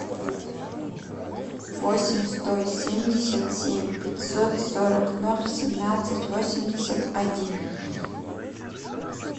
восемь сто семьдесят семь пятьсот сорок ноль семнадцать восемьдесят один